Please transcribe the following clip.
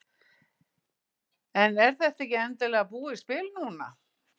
En er þetta ekki endanlega búið spil núna?